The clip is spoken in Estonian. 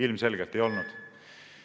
Ilmselgelt ei olnud.